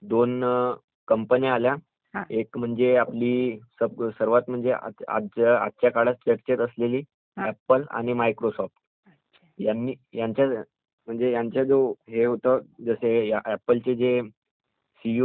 एक म्हणजे आपली सर्वात म्हणजे आजच्या काळात चर्चेत असलेली ऍप्पल आणि मायक्रोसॉफ्ट यांनी...म्हणजे यांचा जे हे होता म्हणजे ऍप्पलचे जे सीईओ आहेत जे मालिक आहेत